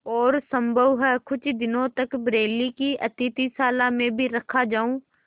और सम्भव है कुछ दिनों तक बरेली की अतिथिशाला में भी रखा जाऊँ